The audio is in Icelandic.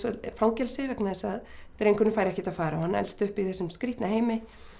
fangelsi vegna þess að drengurinn fær ekkert að fara og hann elst upp í þessum skrýtna heimi